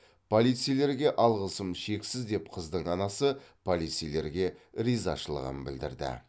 полицейлерге алғысым шексіз деп қыздың анасы полицейлерге ризашылығын білдірді